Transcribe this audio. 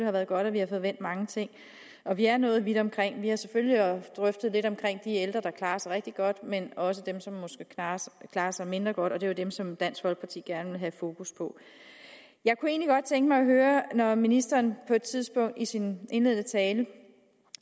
har været godt at vi har fået vendt mange ting og vi er nået vidt omkring vi har selvfølgelig drøftet de ældre der klarer sig rigtig godt men også dem som måske klarer klarer sig mindre godt og det er jo dem som dansk folkeparti gerne vil have fokus på jeg kunne egentlig godt tænke mig at høre når ministeren på et tidspunkt i sin indledende tale